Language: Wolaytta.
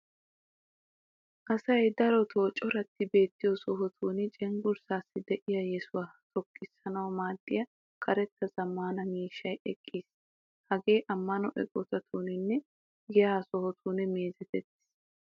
Asay daroppe coratti beettiyo sohotun cenggurssaassi de'iya yesuwa xoqqissanawu maaddiya karetta zammaana miishshay eqqiis. Hagee ammano eqotatuuni nne giyaa sohotun meezetettis.